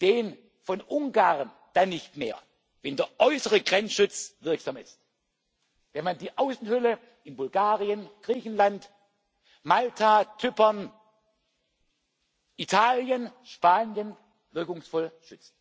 den von Ungarn dann nicht mehr, wenn der äußere Grenzschutz wirksam ist, wenn man die Außenhülle in Bulgarien, Griechenland, Malta, Zypern, Italien und Spanien wirkungsvoll schützt.